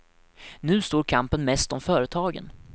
Nu står kampen mest om företagen.